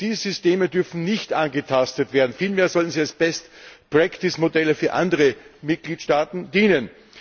Diese Systeme dürfen nicht angetastet werden, vielmehr sollten sie als Modelle für andere Mitgliedstaaten dienen.